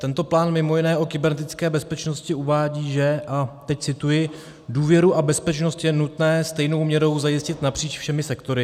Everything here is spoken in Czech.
Tento plán mimo jiné o kybernetické bezpečnosti uvádí, že - a teď cituji: "důvěru a bezpečnost je nutné stejnou měrou zajistit napříč všemi sektory".